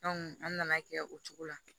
an nana kɛ o cogo la